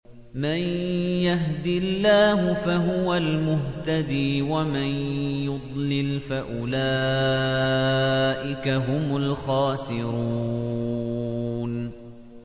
مَن يَهْدِ اللَّهُ فَهُوَ الْمُهْتَدِي ۖ وَمَن يُضْلِلْ فَأُولَٰئِكَ هُمُ الْخَاسِرُونَ